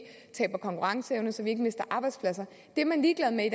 taber konkurrenceevne så vi ikke mister arbejdspladser det er man ligeglad med i